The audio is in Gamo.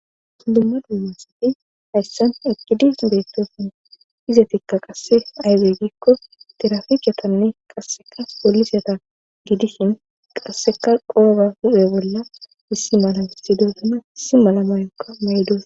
Dumma dumasafi hayssan ekidis beettosin iza tikka qasse aydey giikko tiraficatanne qasseka polisyata gidishin qasseka qooba hu7e bolla issi mala issidosuna issi mala mayokka maydos.